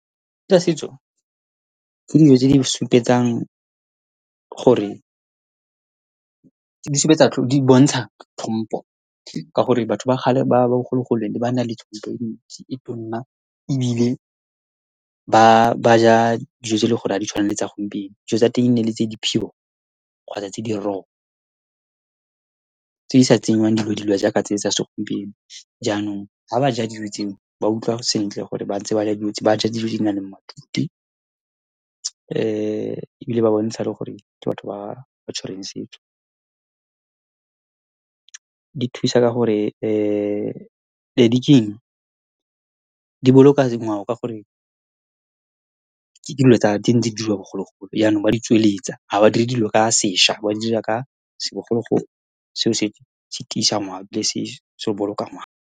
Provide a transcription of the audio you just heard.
Tsa setso, ke dijo tse di supetsang, gore di supetsa, di bontsha tlhompo ka gore batho ba kgale ba bogologolo ba ne ba na le tlhompo e ntsi e tona, ebile ba ja dijo tse e le goreng ha di tshwane le tsa gompieno, dijo tsa teng ene ele tse di pure kgotsa tse di raw, tse di sa tsengwang dilo-dilo jaaka tse tsa segompieno. Jaanong, ha ba ja dijo tseo, ba utlwa sentle gore ba ntse ba ja, ba ja dijo tse di nang le matute ebile ba bontsha le gore ke batho ba ba tshwereng setso. Di thusa ka gore ke eng, di boloka ngwao ka gore ke dingwe tsa, di diriwa bogologolo. Yanong ba di tsweletsa, ha badiri dilo ka sešwa, ba di dira ka segologolo. Selo se se tiisa ngwao ebile se boloka ngwao.